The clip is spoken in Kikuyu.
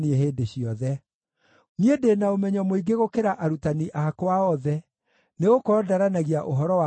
Niĩ ndĩ na ũmenyo mũingĩ gũkĩra arutani akwa othe, nĩgũkorwo ndaranagia ũhoro wa mawatho maku.